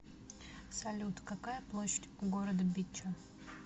салют какая площадь у города битча